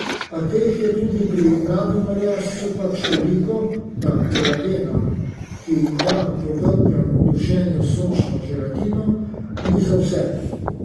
A teh je tudi pri mladem merjascu pač toliko, da kolagena, ki da po dolgem dušenju sočno želatino, ni za vse.